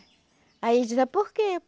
Aí ele dizia, por quê?